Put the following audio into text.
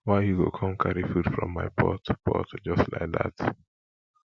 why you go come carry food from my pot pot just like dat